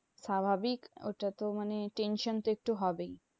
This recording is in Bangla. স্বাভাবিক ওটা তো মানে tension তো একটু হবেই।